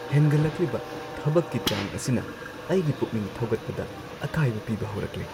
ꯍꯦꯟꯒꯠꯂꯛꯂꯤꯕ ꯊꯕꯛꯀꯤ ꯆꯥꯡ ꯑꯁꯤꯅ ꯑꯩꯒꯤ ꯄꯨꯛꯅꯤꯡ ꯊꯧꯒꯠꯄꯗ ꯑꯀꯥꯏꯕ ꯄꯤꯕ ꯍꯧꯔꯛꯂꯦ꯫